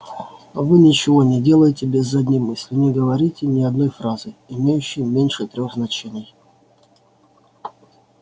вы ничего не делаете без задней мысли не говорите ни одной фразы имеющей меньше трёх значений